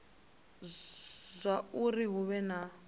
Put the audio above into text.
ita zwauri hu vhe na